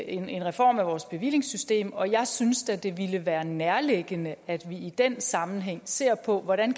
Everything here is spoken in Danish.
en reform af vores bevillingssystem og jeg synes da det ville være nærliggende at vi i den sammenhæng ser på hvordan